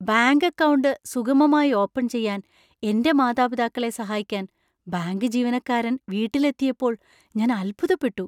Bank account സുഗമമായി open ചെയ്യാൻ എന്‍റെ മാതാപിതാക്കളെ സഹായിക്കാൻ ബാങ്ക് ജീവനക്കാരൻ വീട്ടിലെത്തിയപ്പോൾ ഞാൻ അത്ഭുതപ്പെട്ടു.